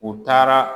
U taara